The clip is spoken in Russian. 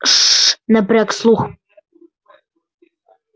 ш-ш-ш напряг слух гарри